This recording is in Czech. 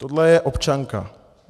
Tohle je občanka.